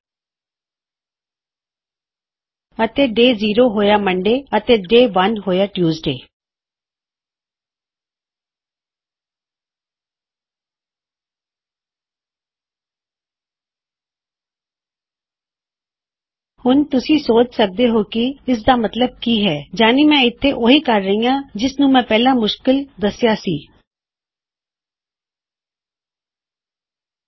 ਹੁਣ ਦਿਨ ਜ਼ੀਰੋ ਸਮਾਨ ਹੈ ਸੋਮਵਾਰ ਤੇ ਅਤੇ ਦਿਨ ਇੱਕ ਸਮਾਨ ਹੈ ਮੰਗਲਵਾਰ ਤੇ ਹੁਣ ਤੁਸੀਂ ਸੋਚ ਸਕਦੇ ਹੋਂ ਕਿ ਇਸਦਾ ਮਤਲਬ ਕੀ ਹੈ160 ਮੇਰਾ ਮਤਲਬ ਹੈ ਕਿ ਮੈ ਇਥੇ ਇਸਨੂੰ ਆਵਸ਼ਕ ਰੂਪ ਨਾਲ ਬਣਾ ਰਿਹਾ ਪਰ ਜੋ ਮੈ ਪਹਿਲਾ ਕਿਹਾ ਸੀ ਉਸ ਨਾਲ ਅਸੀਂ ਹੁਣ ਤੰਗ ਹੋ ਸਕਦੇ ਹਾਂ